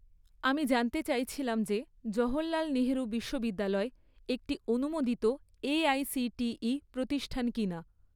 আমি জানতে চাইছিলাম যে জওহরলাল নেহেরু বিশ্ববিদ্যালয় একটি অনুমোদিত এআইসিটিই প্রতিষ্ঠান কিনা?